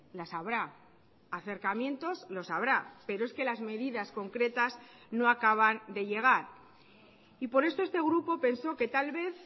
las habrá acercamientos los habrá pero es que las medidas concretas no acaban de llegar y por esto este grupo pensó que tal vez